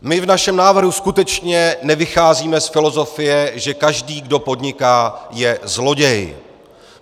My v našem návrhu skutečně nevycházíme z filozofie, že každý, kdo podniká, je zloděj.